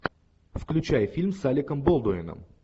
включай фильм с алеком болдуином